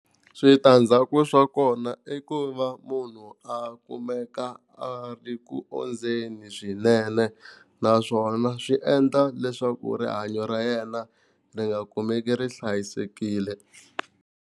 Switandzhaku swa kona i ku va munhu a kumeka a ri ku ondzeni swinene, naswona swi endla leswaku rihanyo ra yena ri nga kumeki ri hlayisekile.